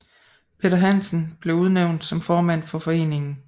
Peter Hansen blev udnævnt som formand for foreningen